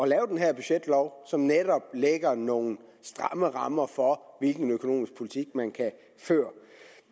lave den her budgetlov som netop lægger nogle stramme rammer for hvilken økonomisk politik man kan føre